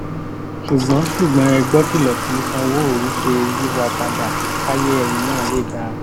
ṣùgbọ́n ṣùgbọ́n ẹ gbọ́kìlọ̀ tí sanwóòru ṣe e yíwàpadà káyé ẹyin náà lè dáa